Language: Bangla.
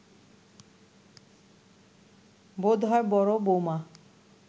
বোধ হয় বড় বৌমা